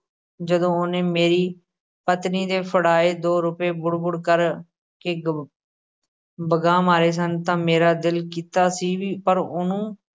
ਜਦੋਂ ਉਹਨੇ ਮੇਰੀ ਪਤਨੀ ਦੇ ਫੜਾਏ ਦੋ ਰੁਪਏ ਬੁੜ-ਬੁੜ ਕਰਕੇ ਗ~ ਵਗਾਹ ਮਾਰੇ ਸਨ ਤਾਂ ਮੇਰਾ ਦਿਲ ਕੀਤਾ ਸੀ ਵੀ ਪਰ ਉਹਨੂੰ